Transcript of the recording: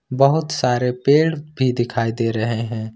बहोत सारे पेड़ भी दिखाई दे रहे हैं।